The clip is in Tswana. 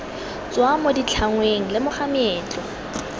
tswa mo ditlhangweng lemoga meetlo